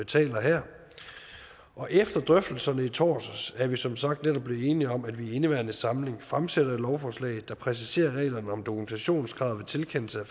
taler her og efter drøftelserne i torsdags er vi som sagt netop blevet enige om at vi i indeværende samling fremsætter et lovforslag der præciserer reglerne om dokumentationskravet ved tilkendelse af